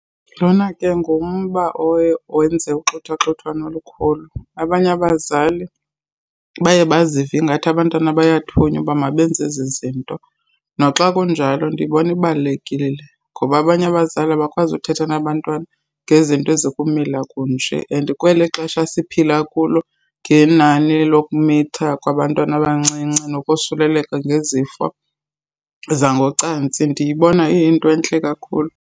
Lona ke ngumba oye owenze uxhuthwaxhuthwano olukhulu. Abanye abazali baye bazive ingathi abantwana bayathunywa uba mabenze ezi zinto. Noxa kunjalo ndiyibona ibalulekile le ngoba abanye abazali abakwazi uthetha nabantwana ngezinto ezikumila kunje and kweli xesha siphila kulo ngenani lokumitha kwabantwana abancinci nokosuleleka ngezifo zangocantsi, ndiyibona iyinto entle kakhulu.